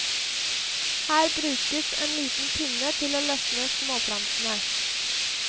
Her brukes en liten pinne til å løsne småplantene.